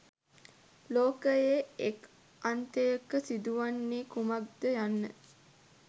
ලෝකයේ එක් අන්තයක සිදුවන්නේ කුමක්ද යන්න